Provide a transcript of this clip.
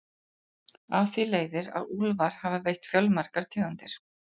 Af því leiðir að úlfar hafa veitt fjölmargar tegundir.